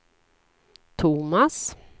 Thomas